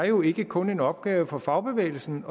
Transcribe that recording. jo ikke kun er en opgave for fagbevægelsen